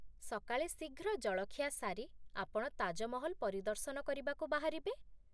ସକାଳେ ଶୀଘ୍ର ଜଳଖିଆ ସାରି, ଆପଣ ତାଜମହଲ ପରିଦର୍ଶନ କରିବାକୁ ବାହାରିବେ।